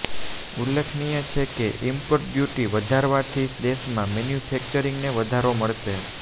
ઉલ્લેખનીય છે કે ઈમ્પોર્ટ ડ્યૂટી વધારવાથી દેશમાં મેન્યુફૈકચરિંગને વધારો મળશે